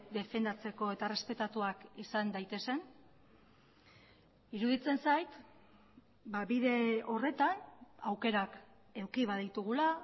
defendatzeko eta errespetatuak izan daitezen iruditzen zait bide horretan aukerak eduki baditugula